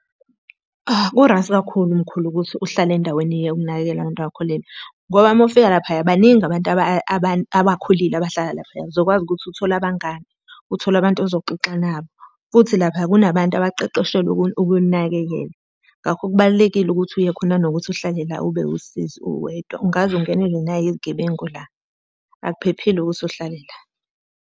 Ku-right kakhulu mkhulu ukuthi uhlale endaweni yokunakekela abantu abakhulile. Ngoba uma ufika lapha baningi abantu abakhulile abahlala laphaya. Uzokwazi ukuthi uthole abangani, uthole abantu ozoxoxa nabo. Futhi lapha kunabantu abaqeqeshelwe ukuninakekela. Ngakho kubalulekile ukuthi uye khona kunokuthi uhlale la ube usizi uwedwa. Ungaze ungenelwe nayi gebengu la, akuphephile ukuthi uhlale la.